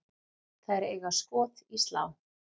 Þær eiga skot í slá.